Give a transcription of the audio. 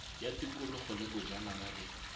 ya tikologo le bojanala le